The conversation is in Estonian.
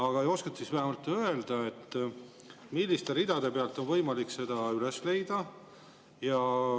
Aga kas oskate vähemalt öelda, milliste ridade pealt on võimalik seda üles leida?